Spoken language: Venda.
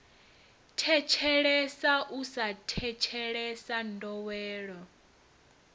thetshelesa u sa thetshelesa ndowelo